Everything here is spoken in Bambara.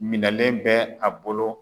Minɛlen bɛ a bolo.